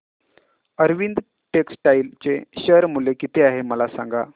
Arvind textile चे share मूल्य किती आहे मला सांगा